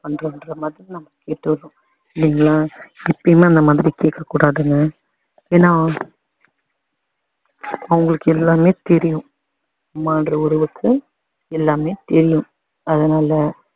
பண்றோன்ற மாதிரி நம்ம கேட்டுடறோம் இல்லிங்களா எப்போவுமே அந்த மாதிரி கேக்க‌கூடாதுங்க ஏன்னா. அவங்களுக்கு எல்லாமே தெரியும் அம்மான்ற உறவுக்கு எல்லாமே தெரியும் அதனால